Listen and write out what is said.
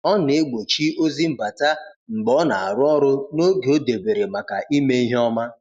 Ọ na-egbochi ozi mbata mgbe ọ na-arụ ọrụ n’oge o debere maka ime ihe ọma.